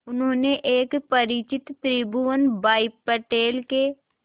उन्होंने एक परिचित त्रिभुवन भाई पटेल के